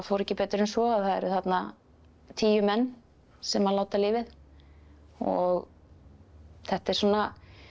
ekki betur en svo að það voru þarna tíu menn sem láta lífið og þetta er svona